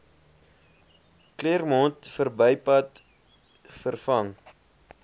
claremont verbypad vervang